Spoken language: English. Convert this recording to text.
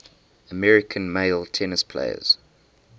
american male tennis players